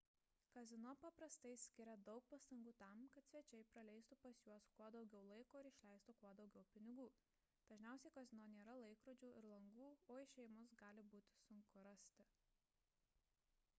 kazino paprastai skiria daug pastangų tam kad svečiai praleistų pas juos kuo daugiau laiko ir išleistų kuo daugiau pinigų dažniausiai kazino nėra laikrodžių ir langų o išėjimus gali būti sunku rasti